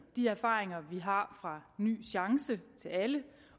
de erfaringer vi har fra ny chance til alle